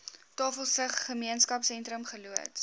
tafelsig gemeenskapsentrum geloods